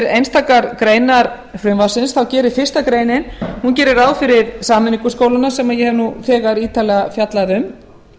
einstakar greinar frumvarpsins þá gerir fyrstu greinar ráð fyrir sameiningu skólanna sem ég hef þegar ítarlega fjallað um